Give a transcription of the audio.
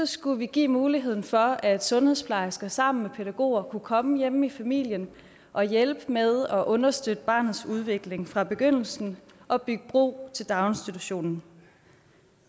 skulle vi give muligheden for at sundhedsplejersker sammen med pædagoger kunne komme hjemme i familien og hjælpe med at understøtte barnets udvikling fra begyndelsen og bygge bro til daginstitutionen